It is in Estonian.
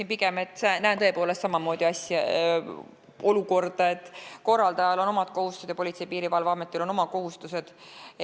Ma näen olukorda tõepoolest samamoodi, korraldajal on omad kohustused ning Politsei- ja Piirivalveametil on omad kohustused.